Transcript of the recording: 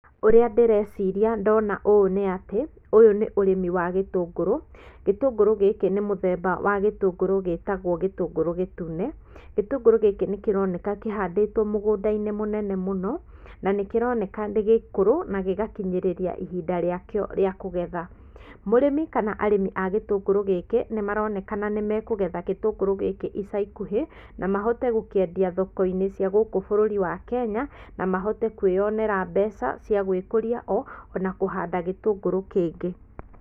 Ũrĩa ndĩreciria ndona ũũ nĩ atĩ, ũyũ nĩ ũrĩmi wa gĩtũngũrũ, gĩtũngũrũ gĩkĩ nĩ mũthemba wa gĩtũngũrũ gĩtagwo gĩtũngũrũ gĩtune, gĩtũngũrũ gĩkĩ nĩ kĩroneka kĩhandĩtwo mũgũnda-inĩ mũnene mũno, na nĩ kĩroneka nĩ gĩkũrũ na gĩgakinyĩrĩria ihinda rĩakĩo rĩa kũgetha. Mũrĩmi kana arĩmi a gĩtũngũrũ gĩkĩ nĩ maronekana nĩ mekũgetha gĩtũngũrũ gĩkĩ ica ikuhĩ, na mahote gũkĩendia thoko-inĩ cia gũkũ bũrũri wa Kenya, na mahote kwĩonera mbeca cia gwĩkũria ho o na kũhanda gĩtũngũrũ kĩngĩ.